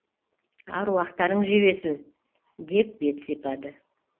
аруақтарың жебесін деп бет сипады